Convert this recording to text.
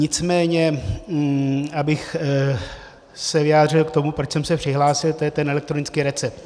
Nicméně abych se vyjádřil k tomu, proč jsem se přihlásil, to je ten elektronický recept.